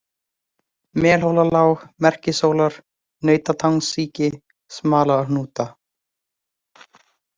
Melhólalág, Merkishólar, Nautatangasíki, Smalahnúta